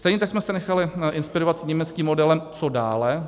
Stejně tak jsme se nechali inspirovat německým modelem Co dále.